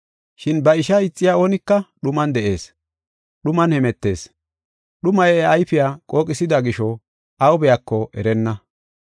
Shin ba ishaa ixiya oonika dhuman de7ees; dhuman hemetees. Dhumay iya ayfiya qooqisida gisho aw biyako erenna.